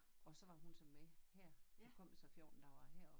Og så var hun så med her kom jo så 14 dage herop